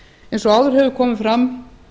eins og áður hefur komið fram